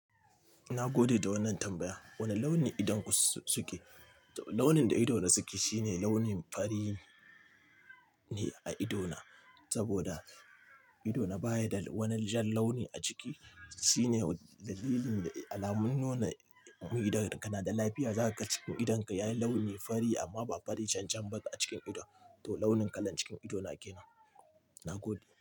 Na gode da wannan tambaya. Wane launi idonku suke? Launin da idona suke shine launin fari ne a idona saboda idona baya da wani jan launi a ciki. Shine dalilin da alamun nuna idan kana da lafiya, za kaga cikin idonka yayi launi fari amma ba fari cancanba a cikin ido. To launin kalan cikin ido na ke nan. Na gode.